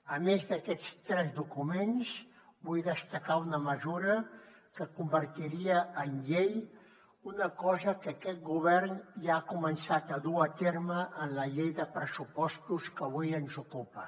a més d’aquests tres documents vull destacar una mesura que convertiria en llei una cosa que aquest govern ja ha començat a dur a terme en la llei de pressupostos que avui ens ocupa